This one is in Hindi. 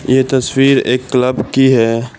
ये तस्वीर एक क्लब की है।